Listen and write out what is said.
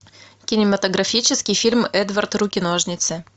кинематографический фильм эдвард руки ножницы